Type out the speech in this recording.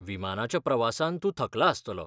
विमानाच्या प्रवासान तूं थकला आसतलो .